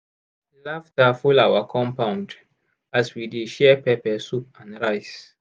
laughter full our compound as we dey share pepper soup and rice.